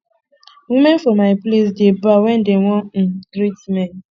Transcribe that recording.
women for my place dey bow wen dem wan um greet men